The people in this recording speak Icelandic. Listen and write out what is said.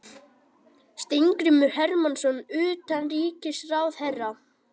Steingrímur Hermannsson utanríkisráðherra.